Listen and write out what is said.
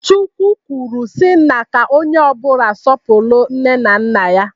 Chukwu kwuru si na ka onye ọbụla sọpụrụ nne na nna ya.